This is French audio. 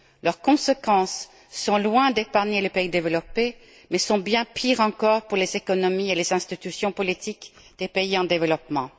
Leurs conséquences sont loin d'épargner les pays développés, mais sont bien pires encore pour les économies et les institutions politiques des pays en développement.